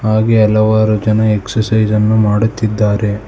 ಹಾಗೆ ಹಲವಾರು ಜನ ಎಕ್ಸರ್ಸೈಜ್ ಅನ್ನು ಮಾಡುತ್ತಿದ್ದಾರೆ.